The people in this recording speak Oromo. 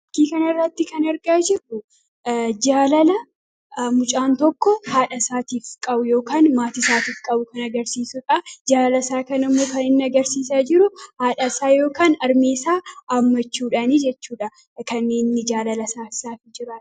Fakkii kana irratti kan argaa jirru jaalala mucaan tokko haadha isaatiif qabu yookaan maatii isaatiif qabu kan agarsiisudha. Jaalala isaa kanammoo kan inni agarsiisaa jiru haadha isaa haammachuudhaanidha.